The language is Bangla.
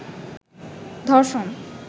ধষর্ণ